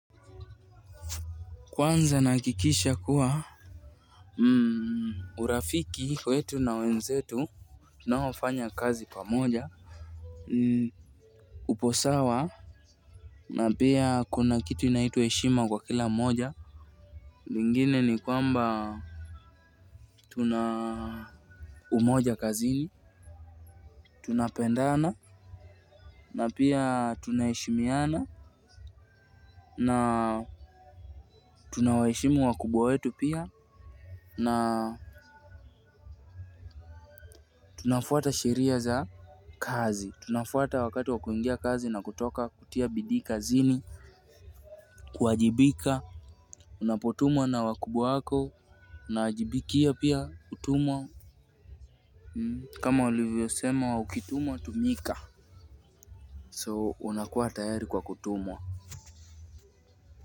Kwanza nakikisha kuwa urafiki wetu na wenzetu, tunaofanya kazi pamoja, upo sawa, na pia kuna kitu inaitwa heshima kwa kila moja, lingine ni kwamba tuna umoja kazini tunapendana, na pia tunaheshimiana, na tunawaheshimu wakubwa wetu pia, na tunafuata sheria za kazi, tunafuata wakati wa kuingia kazi na kutoka kutia bidii kazini kuajibika, unapotumwa na wakubwa wako, unajibikia pia kutumwa kama ulivyosema ukitumwa tumika. So, unakuwa tayari kwa kutumwa.